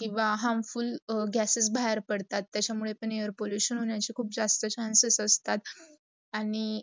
किव्वा harmful gases बाहेर पडतात त्याचा मुडे पण air pollution होण्याची खूप जास्त chances असतात. आणी